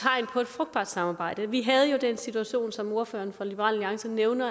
frugtbart samarbejde vi havde jo den situation som ordføreren for liberal alliance nævnte